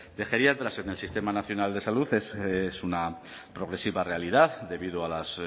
de geriatras en el sistema nacional de salud es una progresiva realidad debido a las